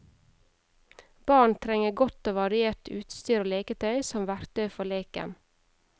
Barn trenger godt og variert utstyr og leketøy som verktøy for leken.